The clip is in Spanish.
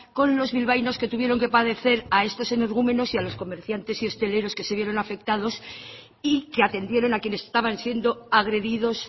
con los bilbaínos que tuvieron que padecer a estos energúmenos y a los comerciantes y hosteleros que se vieron afectados y que atendieron a quienes estaban siendo agredidos